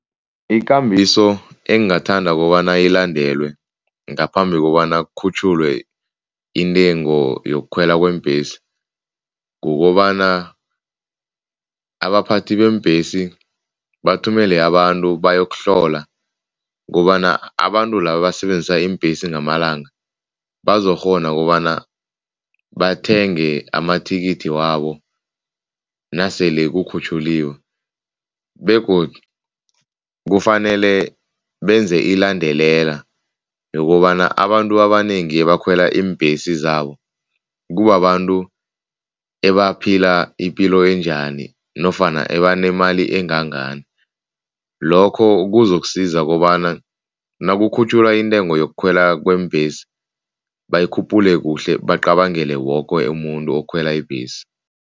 Ikambiso engingathanda kobana ilandelwe ngaphambi kobana kukhutjhulwe intengo yokukhwela kweembhesi, kukobana abaphathi beembhesi bathumele abantu bayokuhlola ukobana abantu laba abasebenzisa iimbhesi ngamalanga bazokukghona kobana bathenge amathikithi wabo nasele kukhutjhukiwe. Begodu kufanele benze ilandelela yokobana abantu abanengi abakhwela iimbhesi zabo kubabantu ebaphila ipilo enjani nofana abanemali engangani. Lokho kuzokusiza kobana nakukhutjhulwa intengo yokukhwela kweembhesi bayikhuphule kuhle, bacabangele woke umuntu okhwela ibhesi.